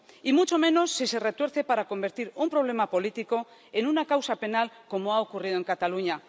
Y mucho menos, si se retuerce para convertir un problema político en una causa penal, como ha ocurrido en Cataluña.